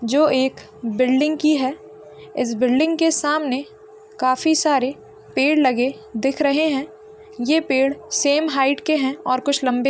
जो एक बिल्डिंग की है इस बिल्डिंग के सामने काफी सारे पेड़ लगे दिख रहे हैं ये पेड़ सेम हाइट के हैं और कुछ लंबे --